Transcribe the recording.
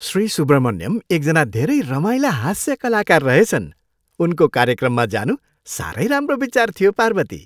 श्री सुब्रमण्यम एकजना धेरै रमाइला हास्य कलाकार रहेछन्। उनको कार्यक्रममा जानु साह्रै राम्रो विचार थियो, पार्वती।